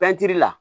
la